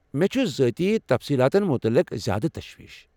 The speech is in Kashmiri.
مے٘ چھٗ ذٲتی تفصیٖلتن متعلق زیٛادٕ تشویٖش ۔